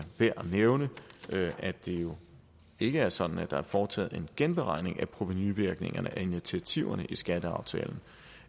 værd at nævne at det jo ikke er sådan at der er foretaget en genberegning af provenuvirkningerne af initiativerne i skatteaftalen